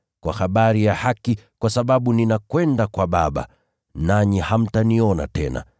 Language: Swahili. kwa habari ya haki, kwa sababu ninakwenda kwa Baba, nanyi hamtaniona tena,